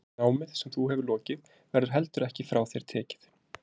Námið sem þú hefur lokið verður heldur ekki frá þér tekið.